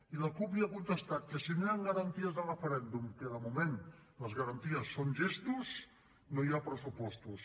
i la cup li ha contestat que si no hi han garanties de referèndum que de moment les garanties són gestos no hi ha pressupostos